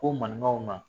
Ko maninkaw ma